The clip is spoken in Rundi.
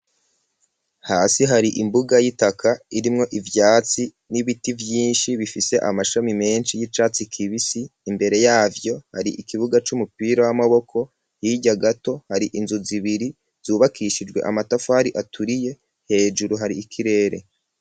Hasi hari imbuga y'itaka, irimwo ivyatsi, n'ibiti vyinshi, bifise amashami menshi, y'icatsi kibisi; imbere yavyo, hari ikibuga c'umupira w'amaboko, hirya gato, hari inzu zibiri, zubakishijwe amatafari aturiye; hejuru hari ikirere.